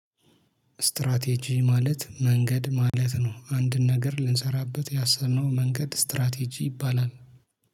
ስትራቴጂ ማለት መንገድ ማለት ነው አንድን ነገር ልንሰራበት ያሰብነው መንገድ ስትራቴጂ ይባላል